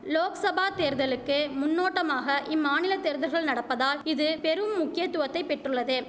லோக்சபா தேர்தலுக்கு முன்னோட்டமாக இம்மாநில தேர்தர்கள் நடப்பதால் இது பெரும் முக்கியத்துவத்தைப் பெற்றுள்ளது